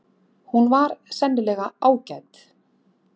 Hún var sennilega ágæt.